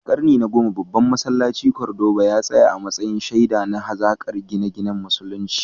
A karni na 10, babban masallacin Cordoba ya tsaya a matsayin shaida na hazaƙar gine-ginen Musulunci.